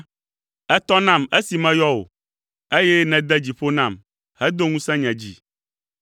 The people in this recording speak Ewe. Ètɔ nam esi meyɔ wò, eye nède dzi ƒo nam, hedo ŋusẽ nye dzi.